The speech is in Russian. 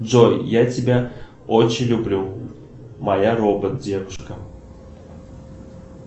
джой я тебя очень люблю моя робот девушка